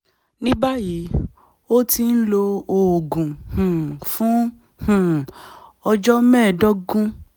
ní báyìí ó ti ń lo oògùn um fún um ọjọ́ mẹ́ẹ̀ẹ́dógún